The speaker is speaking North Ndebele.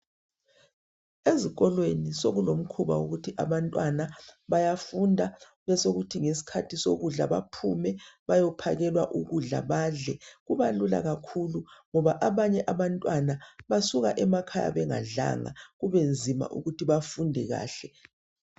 Ezikolweni sokulomkhuba wokuthi abantwana bayafunda bese kuthi ngesikhathi sokudla baphume bayophakelwa ukudla badle. Kuba lula kakhulu ngoba abanye abantwana basuka emakhaya bengadlanga kube nzima ukuthi bafunde kahle.